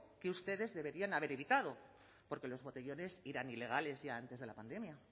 que ustedes deberían haber evitado porque los botellones eran ilegales ya antes de la pandemia